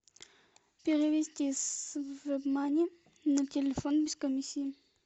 перевести с вебмани на телефон без комиссии